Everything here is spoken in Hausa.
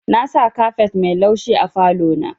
Nasa kafet mai laushi a falo na.